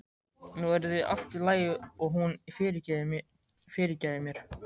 Nú yrði allt í lagi og hún fyrirgæfi mér.